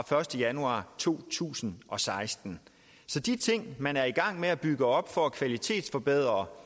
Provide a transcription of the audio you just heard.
første januar to tusind og seksten så de ting man er i gang med at bygge op for at kvalitetsforbedre